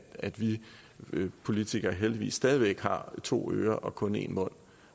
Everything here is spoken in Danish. at vi politikere heldigvis stadig væk har to ører og kun en mund